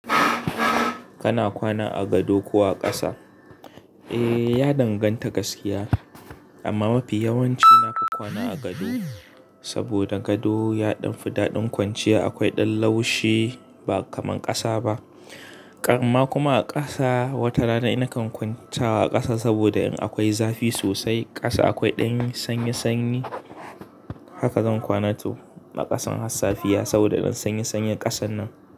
Kana kwana a gado ko a ƙasa? Eh, ya danganta gaskiya amma mafi yawanci nafi kwana a gado. Saboda gado ya ɗan fi daɗin kwanciya, akwai ɗan laushi ba kamar ƙasa ba. Kan ma kuma a ƙasa, wata rana na kan kwanta a ƙasa saboda in akwai zafi sosai, ƙasa akwai ɗan sanyi sanyi. Haka zan kwana to a ƙasan hassafiya saboda ɗan sanyi sanyin ƙasan nan.